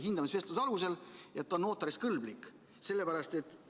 Hindamisvestluse alusel, et ta on notariks kõlblik.